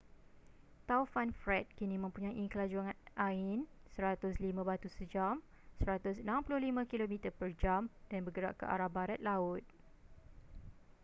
taufan fred kini mempunyai kelajuan angin 105 batu sejam 165 km/j dan bergerak ke arah barat laut